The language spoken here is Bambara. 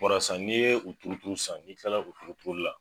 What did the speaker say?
Warasa ni ye u turuturu sisan n'i kilala u turuturuli la